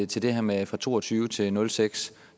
til det her med fra to og tyve til nul seks